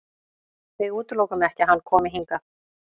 Við útilokum ekki að hann komi hingað.